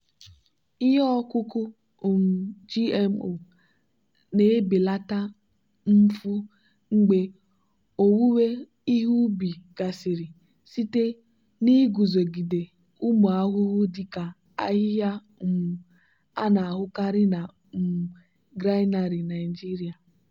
ihe ọkụkụ um gmo na-ebelata mfu mgbe owuwe ihe ubi gasịrị site n'iguzogide ụmụ ahụhụ dị ka ahịhịa um a na-ahụkarị na um granary nigeria.